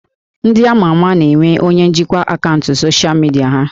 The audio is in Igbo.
Ndị ama ama na-enwe onye njikwa akaụntụ soshal midia ha